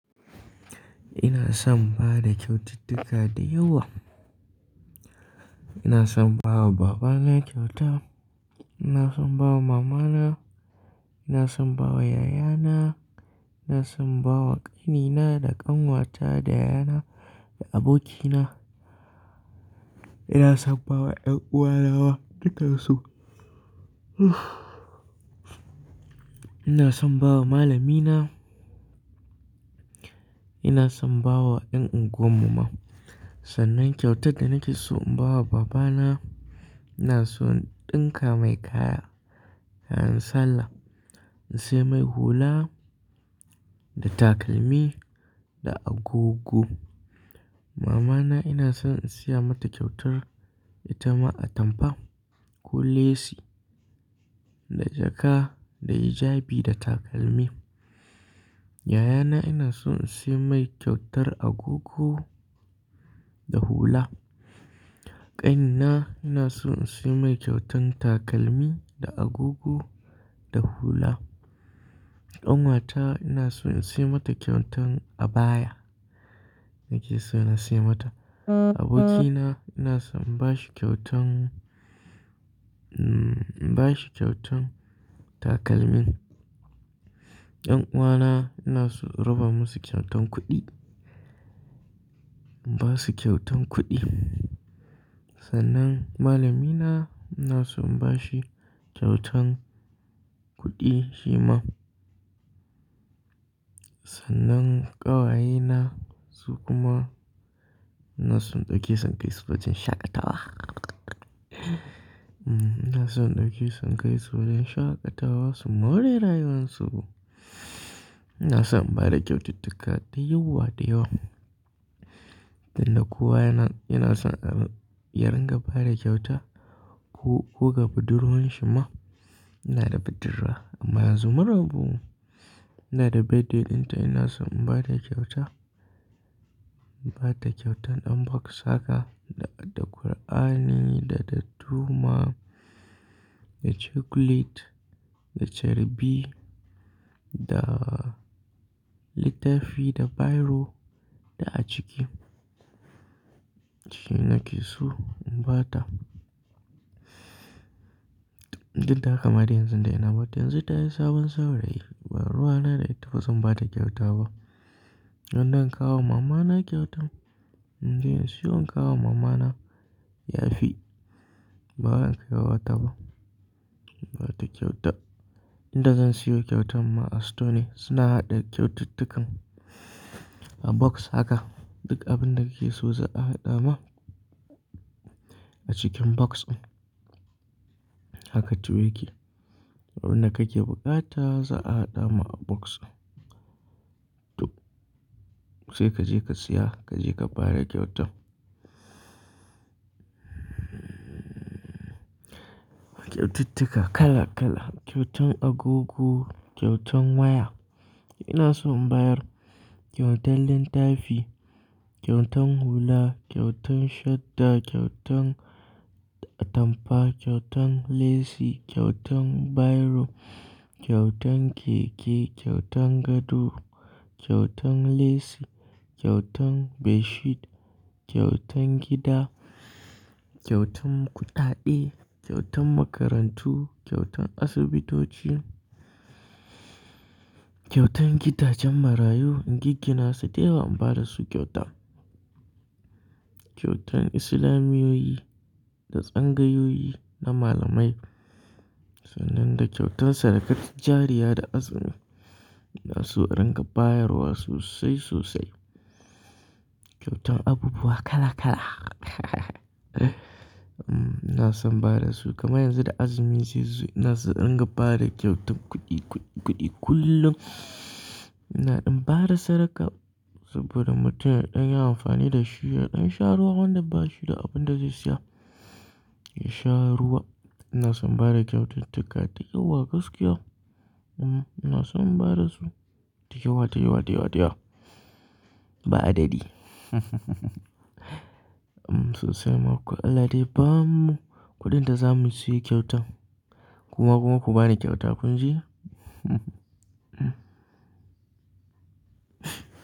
Ina son bada kyaututtuka da yawa. Ina son bawa babana kyauta, ina son bawa mamana, ina son bawa yayana, ina son bawa ƙanina da ƙanwata da yayana da abokina. Ina son bawa ƴar uwa na duka su. Ina son bawa malamina, ina son bawa ƴan unguwar mu ma. Sannan kyautar da nake so in bawa babana, ina so in ɗinka mai kaya, kayan sallah. In sai mai hula da takalmi da agogo. Mamana ina son in saya mata kyautar ita ma atamfa ko lasi da jaka da hijabi da takalmi. Yayana ina son in sai mai kyautar agogo da hula. Ƙanina ina son in sai mai kyautan takalmi da agogo da hula. ƙAnwata ina son in sai mata kyautan abaya, nake so na sai mata. Abokina ina son in bashi kyautan, hmm in bashi kyautan takalmi. Ƴan uwana ina so in raba musu kyautan kuɗi, in basu kyautan kuɗi. Sannan malamina ina son in bashi kyautan kuɗi shi ma. Sannan ƙawayena su kuma ina son ɗauki sankai su wajen shaƙatawa. Hmm ina son ɗauki sankai su wajen shaƙatawa su maure rayuwansu. Ina son bada kyaututtuka da yawa da yawa. Danna kowa yana, yana son a ringa bada kyauta ko, ko ga budurwen shi ma yana da budurwa amma yanzu maraɓu. Yana da birthday dinta ina son in bada kyauta. Ba ta kyautan box haka da, da Kur'ani da, da tuma, da chocolate da caribi, da littafi, da biro da acike. Shi nake so in ba ta. Duk da haka dai yanzu dai ina bata, yanzu tayi sabon saurayi, ba ruwa na dai bazan bata kyauta ba. Wanda in kawo mama na kyautan, in jiya in siyo in kawo mama na yafi. Ba zan kai wa ta ba, ba ta kyauta. Inda zan siyo kyautan ma a stone suna haɗa kyaututtukan a box haka. Duk abinda kake so za a haɗa ma a cikin box din. Haka tuwo yake. Abinda kake buƙata za a haɗa ma a box din. Duk. Sai kaje ka siya kaje ka bada kyautan. Kyaututtuka kala kala, kyautan agogo, kyautan waya. Ina son in bayar kyautan littafi, kyautan hula, kyautan shadda, kyautan atampa, kyautan lasi, kyautan biro, kyautan keke, kyautan gado, kyautan lasi, kyautan ɓedshit, kyautan gida, kyautan kuɗaɗe, kyautan makarantu, kyautan asibitoci, kyautan gidajen marayu in giggina su dya in bada su kyauta. Kyautan islamiyoyi da tsangayoyi na malamai. Sannan da kyautan sadakatujjariya da azumi. Ina so in ringa bayarwa sosai sosai. Kyautan abubuwa kala kala. Hmm ina son bada su, kamar yanzu da azumi zai zo ina so in ringa bada kyautan kuɗi, kuɗi, kuɗi kullum. Inaɗin bada saraka saboda mutum idan ya amfani da shi yaɗin sha ruwa wanda bashi da abinda za suya, ya sha ruwa. Ina son bada kyaututtuka da yawa gaskiya. Hmm ina son in bada su da yawa da yawa da yawa da yawa. Ba adadi. Hmm sosai ma ku Allah dai bamu kuɗin da zamu siyo kyautan. Kuma kuma ku bani kyauta kun jiya.